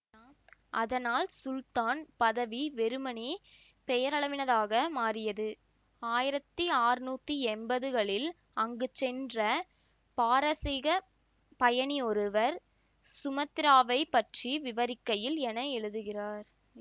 அதனால் சுல்தான் பதவி வெறுமனே பெயரளவினதாக மாறியது ஆயிரத்தி ஆறுநூற்றி எம்பது களில் அங்கு சென்ற பாரசீகப் பயணி ஒருவர் சுமத்திராவைப் பற்றி விவரிக்கையில் என எழுதுகிறார்